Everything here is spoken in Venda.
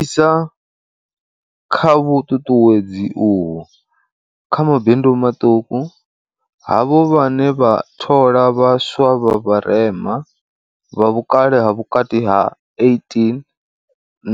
Isa kha vhuṱuṱuwedzi uho kha mabindu maṱuku, havho vhane vha thola vha swa vha vharema, vha vhukale ha vhukati ha 18